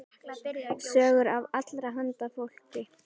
Sögur af allra handa fólki.